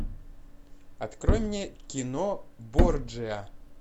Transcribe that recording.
открой мне кино борджиа